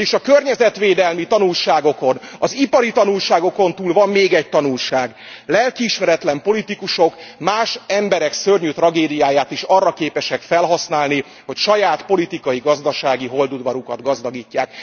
Vagyis a környezetvédelmi tanulságokon, az ipari tanulságokon túl van még egy tanulság lelkiismeretlen politikusok más emberek szörnyű tragédiáját is arra képesek felhasználni, hogy saját politikai gazdasági holdudvarukat gazdagítsák.